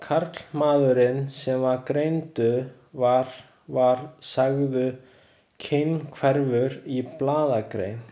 Karlmaðurinn sem greindur var var sagður kynhverfur í blaðagrein.